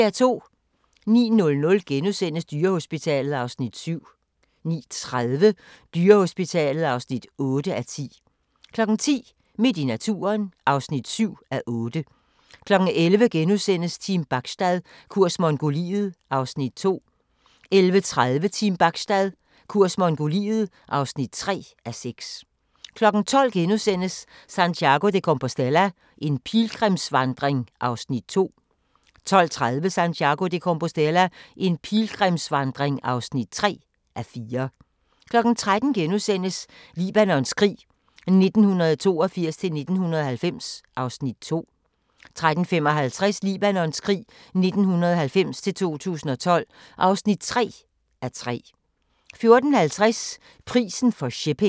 09:00: Dyrehospitalet (7:10)* 09:30: Dyrehospitalet (8:10) 10:00: Midt i naturen (7:8) 11:00: Team Bachstad – kurs Mongoliet (2:6)* 11:30: Team Bachstad – kurs Mongoliet (3:6) 12:00: Santiago de Compostela – en pilgrimsvandring (2:4)* 12:30: Santiago de Compostela – en pilgrimsvandring (3:4) 13:00: Libanons krig 1982-1990 (2:3)* 13:55: Libanons krig 1990-2012 (3:3) 14:50: Prisen for shipping